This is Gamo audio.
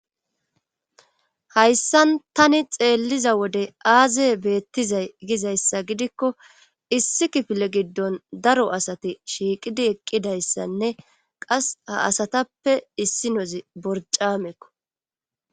Hayssan tani xeelliza wode aazey beettizay gizayssa gidikko issi kifile giddon daro asati shiiqidi eqqidayssanne qas ha asatappe issi nozi borcamekko.